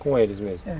Com eles mesmo? É.